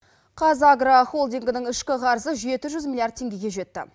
қазагро холдингінің ішкі қарызы жеті жүз миллиард теңгеге жетті